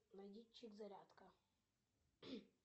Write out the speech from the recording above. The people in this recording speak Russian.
найди чик зарядка